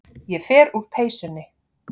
Ég fer úr peysunni.